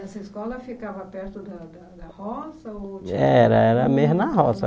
E essa escola ficava perto da da roça? Ou Era era meia na roça